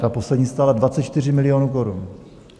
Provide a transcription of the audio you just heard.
Ta poslední stála 24 milionů korun.